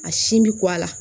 A sin bɛ ko a la